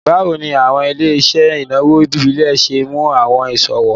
Bawo ni awọn ile-iṣẹ inawo ibile ṣe mu awọn iṣowo?